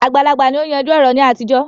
Àgbàlagbà ni ó ń yanjú ọ̀rọ̀ ní àtijọ́